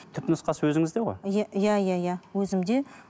түпнұсқасы өзіңізде ғой иә иә иә иә өзімде